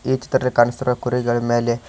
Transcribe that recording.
ಈ ಚಿತ್ರದಲ್ಲಿ ಕಾಣಿಸುತ್ತಿರುವ ಕುರಿಗಳ ಮೇಲೆ--